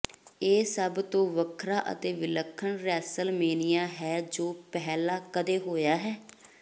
ਇਹ ਸਭ ਤੋਂ ਵੱਖਰਾ ਅਤੇ ਵਿਲੱਖਣ ਰੈਸਲਮੇਨੀਆ ਹੈ ਜੋ ਪਹਿਲਾਂ ਕਦੇ ਹੋਇਆ ਹੈ